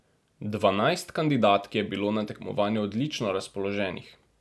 Dvanajst kandidatk je bilo na tekmovanju odlično razpoloženih.